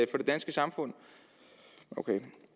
det danske samfund ok